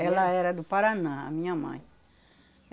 Ela era do Paraná, a minha mãe.